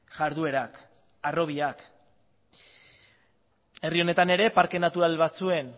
jarduerak harrobiak herri honetan ere parke natural batzuen